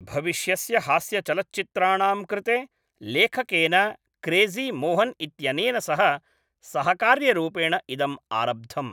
भविष्यस्य हास्यचलच्चित्राणां कृते लेखकेन क्रेज़ी मोहन् इत्यनेन सह सहकार्यरूपेण इदम् आरब्धम्।